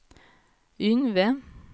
Yngve